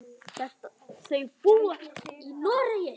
Þau búa í Noregi.